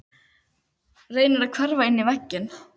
Reynir að hverfa inn í vegginn.